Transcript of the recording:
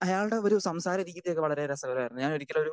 speaker 2 അയാളുടെ ഒരു സംസാരരീതിയൊക്കെ വളരെ രസകരമായിരുന്നു ഞാനൊരിക്കലും ഒരു